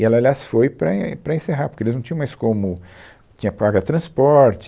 E ela, aliás, foi para en para encerrar, porque eles não tinham mais como... Tinha que pagar transporte,